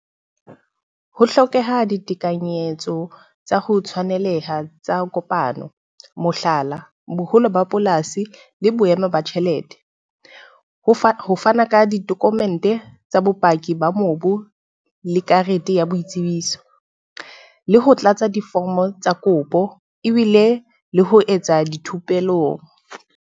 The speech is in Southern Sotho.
Ho hlokeha ditekanyetso tsa ho tshwaneleha tsa kopano. Mohlala, boholo ba polasi le boemo ba tjhelete. Ho fana ka ka di-document tsa bopaki ba mobu le karete ya boitsebiso. Le ho tlatsa diforomo tsa kopo ebile le ho etsa dithupelong.